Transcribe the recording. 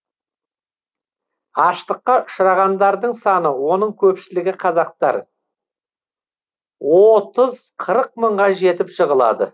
аштыққа ұшырағандардың саны оның көпшілігі қазақтар оотыз қырық мыңға жетіп жығылады